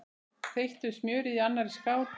Þeyttu smjörið í annarri skál.